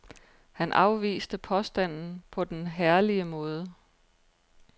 Han afviste påstanden på den herlige måde.